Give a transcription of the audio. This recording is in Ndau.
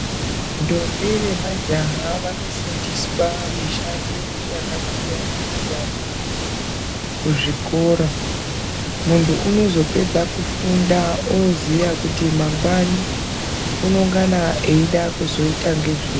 Ndombi nemajaha vanofundiswa mishando yakasiyana-siyana kuzvikora. Muntu unozopedza kufunda oziya kuti mangwani unongana eida kuzoita nezvei.